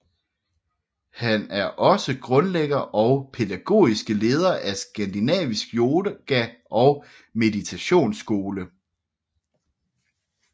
Han er også grundlægger og pædagogiske leder af Skandinavisk Yoga og Meditationsskole